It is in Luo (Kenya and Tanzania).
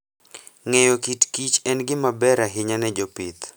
Ng'eyo kit kich en gima ber ahinya ne jopith.